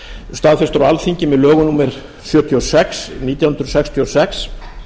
staðfestur á alþingi með lögum númer sjötíu og sex nítján hundruð sextíu og sex